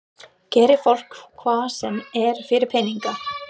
Gerir fólk hvað sem er fyrir peninga?